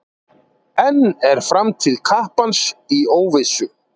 Enn er framtíð kappans í óvissu.